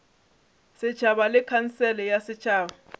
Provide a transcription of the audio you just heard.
setšhaba le khansele ya setšhaba